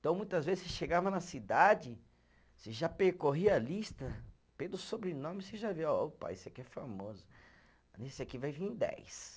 Então, muitas vezes, você chegava na cidade, você já percorria a lista, pelo sobrenome você já via, ó opa, esse aqui é famoso, nesse aqui vai vir dez.